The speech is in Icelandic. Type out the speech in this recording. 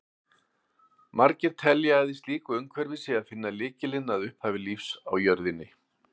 Margir telja að í slíku umhverfi sé að finna lykilinn að upphafi lífs á jörðinni.